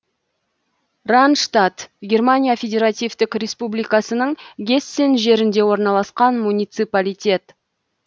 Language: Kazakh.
ранштадт германия федеративтік республикасының гессен жерінде орналасқан муниципалитет